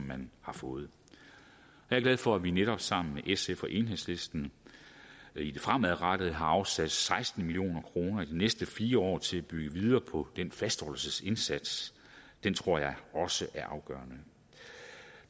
man har fået jeg er glad for at vi netop sammen med sf og enhedslisten i det fremadrettede har afsat seksten million kroner i de næste fire år til at bygge videre på den fastholdelsesindsats den tror jeg også er afgørende